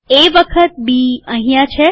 એ વખત બી અહીંયા છે